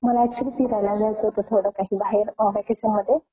Audio not clear